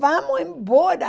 Vamos embora.